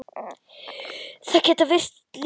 Það getur virst lítið.